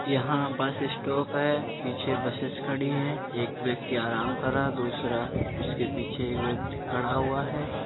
यहाँ bus stop है पीछे बसेस खड़ीं हैं। एक व्यक्ति आराम कर रहा है दूसरा उसके पीछे एक व्यक्ति खड़ा हुआ है।